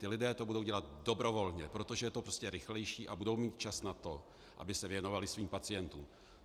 Ti lidé to budou dělat dobrovolně, protože to je prostě rychlejší, a budou mít čas na to, aby se věnovali svým pacientům.